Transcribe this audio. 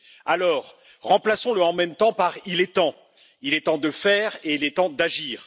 Alors, remplaçons le en même temps par il est temps il est temps de faire et il est temps d'agir.